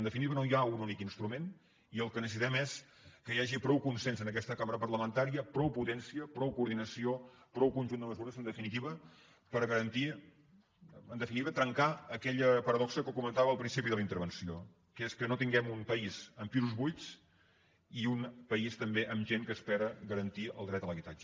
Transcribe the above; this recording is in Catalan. en definitiva no hi ha un únic instrument i el que necessitem és que hi hagi prou consens en aquesta cambra parlamentària prou potència prou coordinació prou conjunt de mesures en definitiva per garantir trencar aquella paradoxa que comentava al principi de la intervenció que és que no tinguem un país amb pisos buits i un país també amb gent que espera garantir el dret a l’habitatge